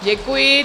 Děkuji.